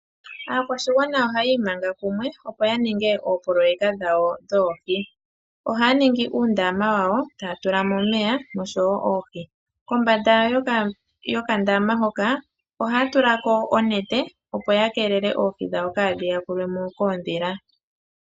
Aakwashigwana ohaya imanga kumwe opo ya ninge oopoloyeka dhawo dhoohi, ohaya ninga uundama moka haya tula omeya oshowo oohi, kombanda yuundama ohaya tula ko oonete opo ya keelele oohi kaadhi yakulwe mo koondhila.